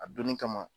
A donni kama